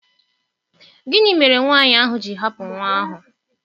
Gịnị mere nwanyị ahụ ji hapụ nwa ahụ?